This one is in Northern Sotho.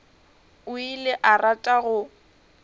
o ile a rata go